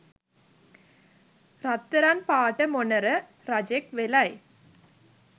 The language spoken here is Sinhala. රත්තරන් පාට මොණර රජෙක් වෙලයි